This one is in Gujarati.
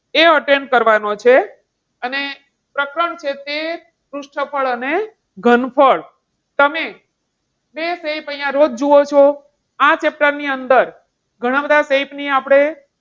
એ attend કરવાનો છે અને પ્રકરણ છે તે પૃષ્ઠફળ અને ઘનફળ. તમે બે shape અહીંયા રોજ જુઓ છો આ chapter ની અંદર ઘણા બધા shape ની આપણે,